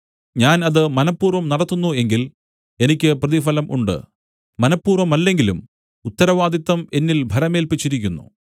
ഞാൻ അത് മനഃപൂർവ്വം നടത്തുന്നു എങ്കിൽ എനിക്ക് പ്രതിഫലം ഉണ്ട് മനഃപൂർവ്വമല്ലെങ്കിലും ഉത്തരവാദിത്തം എന്നിൽ ഭരമേല്പിച്ചിരിക്കുന്നു